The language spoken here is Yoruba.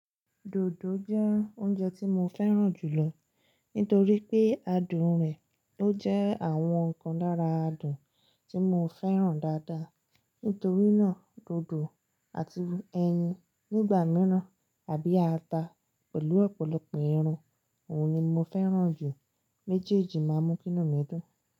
Dòdò jẹ́ oúnjẹ tí mo fẹ́ràn jù lọ nítorí pé adùn rẹ̀ ló jẹ́ àwọn kan lára adùn tí mo fẹ́ràn dáadáa. Nítorí náà, dòdò àti ẹyin nígbà mìíràn àbí ata pẹ̀lú ọ̀pọ̀lọpọ̀ irun. Òhun ni mo fẹ́ràn jù. Méjèèjì máa mú kì inu mi dùn.